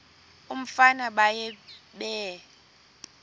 umfana baye bee